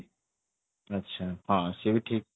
ଆଚ୍ଛା ହଁ ସିଏ ବି ଠିକ